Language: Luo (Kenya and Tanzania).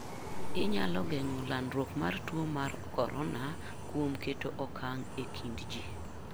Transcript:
Inyalo geng'o landruok mar tuo mar corona kuom keto okang' e kind ji.